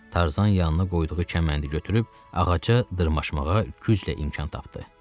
Tarzan yanına qoyduğu kəməndi götürüb ağaca dırmaşmağa güclə imkan tapdı.